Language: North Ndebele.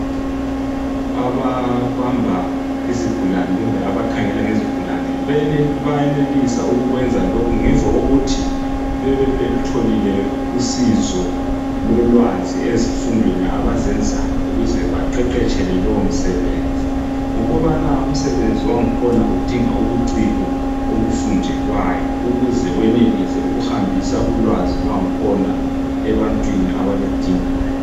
Ababamba izigulane kumbe abakhangela ngezigulane bayenelisa ukukwenza lokhu ngemva kokuthi bebe belutholile usizo lolwazi ezifundweni abazenzayo ukuze baqeqetshele lowo msebenzi. Ngokubana umsebenzi wankhona udinga ubuciko obufundelwayo ukuze wenelise ukuhambisa ulwazi lwankhona ebantwini abaludingayo.